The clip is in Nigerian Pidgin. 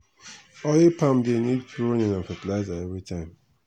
oil palm dey need pruning and fertilizer everytime.